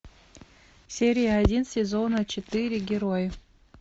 серия один сезона четыре герой